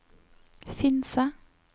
Finse